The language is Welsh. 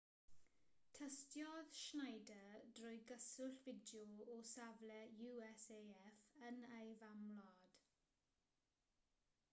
tystiodd schneider drwy gyswllt fideo o safle usaf yn ei famwlad